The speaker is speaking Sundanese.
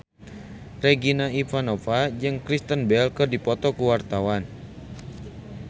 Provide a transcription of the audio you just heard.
Regina Ivanova jeung Kristen Bell keur dipoto ku wartawan